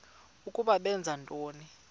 ukuba benza ntoni